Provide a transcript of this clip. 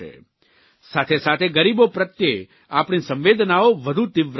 સાથેસાથે ગરીબો પ્રત્ય આપણી સંવેદનાઓ વધુ તીવ્ર બનવી જોઇએ